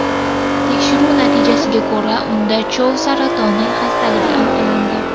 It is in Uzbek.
Tekshiruv natijasiga ko‘ra, unda chov saratoni xastaligi aniqlandi.